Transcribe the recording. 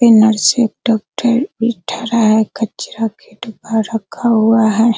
इ नर्स है एक डॉक्टर भी ठड़ा है कचरा का डब्बा रखा हुआ है।